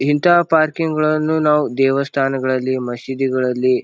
ಇಂತಹ ಪಾರ್ಕಿಂಗ್ ಗಳನ್ನು ನಾವು ದೇವಸ್ಥಾನದಗಳಲ್ಲಿ ಮಸೀದಿಗಳಲ್ಲಿ --